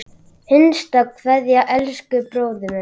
HINSTA KVEÐJA Elsku bróðir minn.